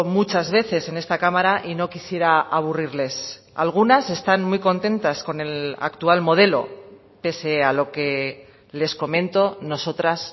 muchas veces en esta cámara y no quisiera aburrirles algunas están muy contentas con el actual modelo pese a lo que les comento nosotras